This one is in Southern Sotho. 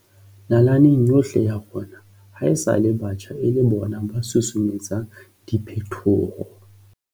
Nalaneng yohle ya rona hae-sale batjha e le bona ba susumetsang diphetoho.